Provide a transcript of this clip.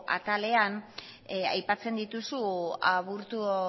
atalean aipatzen dituzu aburto